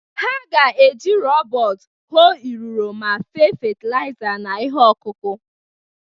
Ha ga-eji rọbọt hoo iriro ma fee fatịlaịza na ihe ọkụkụ.